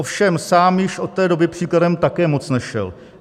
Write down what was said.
Ovšem sám již od té doby příkladem také moc nešel.